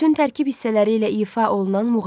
Bütün tərkib hissələri ilə ifa olunan muğam.